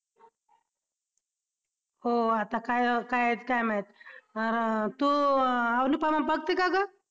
हो आता काय काय येत काय माहित, तू अनुपमा बघती का गं?